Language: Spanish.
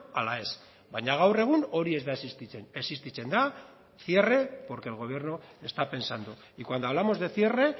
ala ez baina gaur egun hori ez da existitzen existitzen da cierre porque el gobierno está pensando y cuando hablamos de cierre